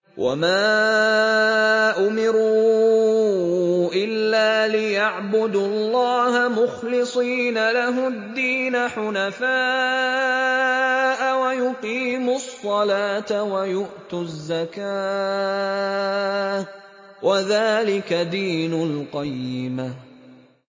وَمَا أُمِرُوا إِلَّا لِيَعْبُدُوا اللَّهَ مُخْلِصِينَ لَهُ الدِّينَ حُنَفَاءَ وَيُقِيمُوا الصَّلَاةَ وَيُؤْتُوا الزَّكَاةَ ۚ وَذَٰلِكَ دِينُ الْقَيِّمَةِ